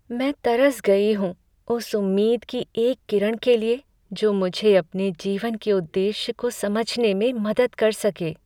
मैं तरस गई हूँ उस उम्मीद की एक किरण के लिए जो मुझे अपने जीवन के उद्देश्य को समझने में मदद कर सके।